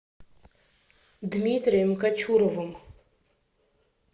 дмитрием кочуровым